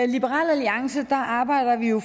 liberal alliance arbejder vi jo